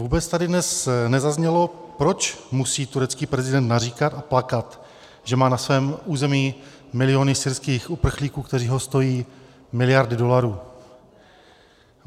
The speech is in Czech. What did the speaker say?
Vůbec tady dnes nezaznělo, proč musí turecký prezident naříkat a plakat, že má na svém území miliony syrských uprchlíků, kteří ho stojí miliardy dolarů.